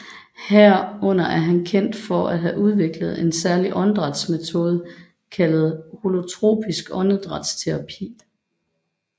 Herunder er han kendt for at have udviklet en særlig åndedrætsmetode kaldet holotropisk åndedrætsterapi